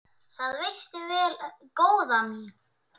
Það veistu vel, góða mín.